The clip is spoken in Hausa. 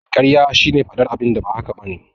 Karya shine faɗar abinda ba haka bane